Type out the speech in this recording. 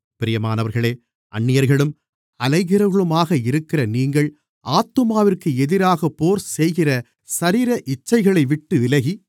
பிரியமானவர்களே அந்நியர்களும் அலைகிறவர்களுமாக இருக்கிற நீங்கள் ஆத்துமாவிற்கு எதிராகப் போர்செய்கிற சரீர இச்சைகளைவிட்டு விலகி